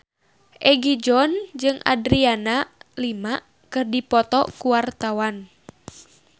Egi John jeung Adriana Lima keur dipoto ku wartawan